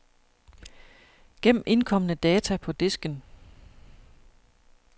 Gem indkomne data på disken.